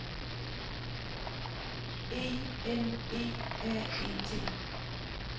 E N E R E T